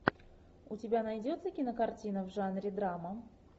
у тебя найдется кинокартина в жанре драма